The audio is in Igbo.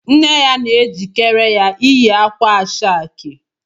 Nne ya na-ejikere ya ịyị akwa ashake